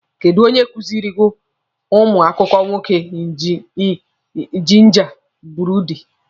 Kedụ onye nkụzi kọrọ ụnụ akụkọ nwoke jinja buredi?